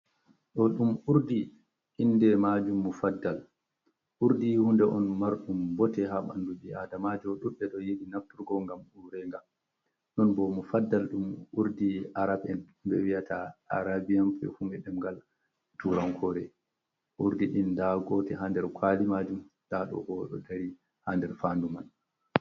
Ɗo dum Urdi inde majum mufaddal, Urdi hunde on marɗum bote ha banɗu ɓi adamajo duɓɓe ɗo yidi nafturgo gam urega, non bo Mofaddal dum urdi arab'en be wi'ata arabian pefum ɓe ɗemgal turankore, Urdi ɗin da gote ha ɗer kwali majum, daɗobo dari ha nɗer fadu man.